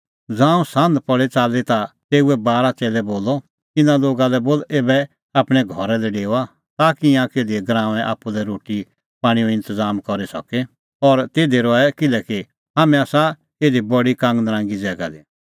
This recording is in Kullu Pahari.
ज़ांऊं सान्ह च़ाल्ली पल़ी ता तेऊए बारा च़ेल्लै बोलअ इना लोगा लै बोल ऐबै आपणैं घरा लै डेओआ ताकि ईंयां किधी गराऊंऐं आप्पू लै रोटी पाणींओ इंतज़ाम करी सके और तिधी रहे किल्हैकि हाम्हैं आसा इधी बडी कांगनरांगी ज़ैगा दी